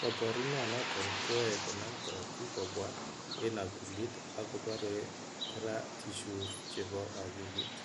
Koporunoton koyoe konam korotik kobwa en akilit akopore kora tissues chepo akilit.